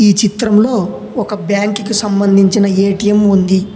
ఈ చిత్రంలో ఒక బ్యాంకు కు సంబంధించిన ఏటీఎం ఉంది.